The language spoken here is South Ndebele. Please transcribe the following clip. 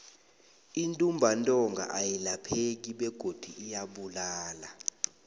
intumbantonga ayilapheki begodu iyabulala